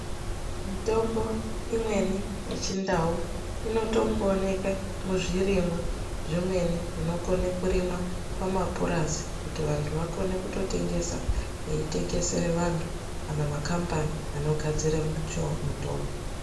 Mitombo imweni yechindau inotongooneka muzvirimwa zvimweni zvinokone kurimwa mumapurazi kuti vantu vakone kutotengesa veitengesere vantu kana makhambani anogadzira mitombo.